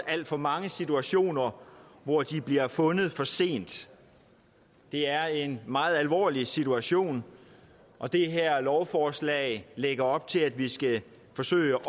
alt for mange situationer hvor de bliver fundet for sent det er en meget alvorlig situation og det her lovforslag lægger op til at vi skal forsøge